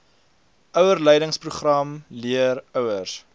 ouerleidingsprogram leer ouers